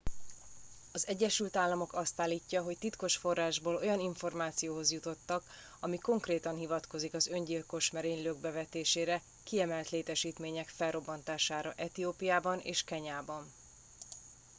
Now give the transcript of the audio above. "az egyesült államok azt állítja hogy titkos forrásból olyan információhoz jutottak ami konkrétan hivatkozik az öngyilkos merénylők bevetésére "kiemelt létesítmények" felrobbantására etiópiában és kenyában.